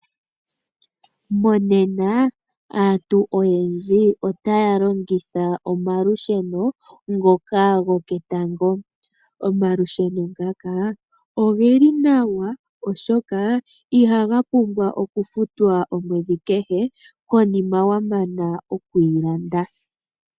Mongaashingeyi aantu oyendji otaya longitha omalusheno ngoka go ketango. Omalusheno ngaka oge li nawa oshoka iha ga pumbwa okufutwa omwedhi kehe konima wa mana okwiilanda.